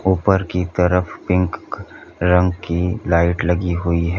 ऊपर की तरफ पिंक रंग की लाइट लगी हुई है।